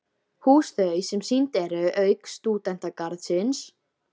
Hús þau, sem sýnd eru- auk Stúdentagarðsins